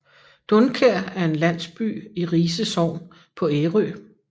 Dunkær er en landsby i Rise Sogn på Ærø